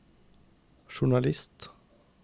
journalist